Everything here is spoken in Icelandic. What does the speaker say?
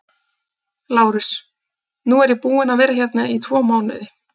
LÁRUS: Nú er ég búinn að vera hérna í tvo mánuði.